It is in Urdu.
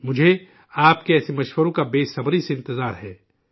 مجھے، آپ کے ایسے مشوروں کا بے صبری سے انتظار ہے